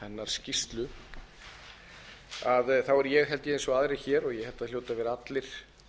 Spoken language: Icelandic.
skýrsluna er ég held ég eins og aðrir hér og ég held að það hljóti að vera allir